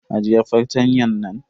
Ajiye fartanyan nan.